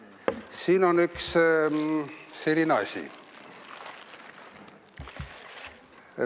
Siin on üks selline asi.